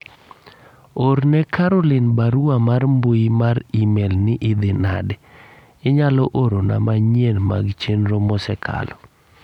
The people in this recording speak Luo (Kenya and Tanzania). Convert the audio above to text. orne Caroline barua mar mbui mar email ni idhi nade inyalo orona manyien mag chenro mosekalo